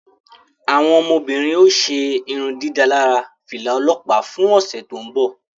Awọn ọmọbirin o ṣe irundidalara fila ọlọpa fún ọsẹ to nbọ